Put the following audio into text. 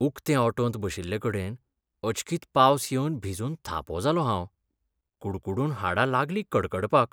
उकते ऑटोंत बशिल्लेकेडन अचकीत पावस येवन भिजून थापो जालों हांव. कुडकुडून हाडां लागलीं कडकडपाक.